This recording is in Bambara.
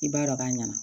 I b'a dɔn k'a ɲɛna